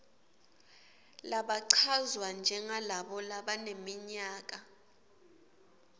labachazwa njengalabo labaneminyaka